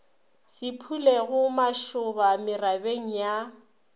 se phulego mašoba merabeng ya